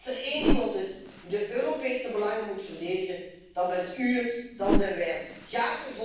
Als er één iemand is die de Europese belangen moet verdedigen, dan bent u het, dan zijn wij het.